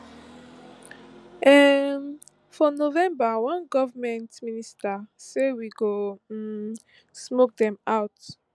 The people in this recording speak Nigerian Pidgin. um for november one goment minister say we go um smoke dem out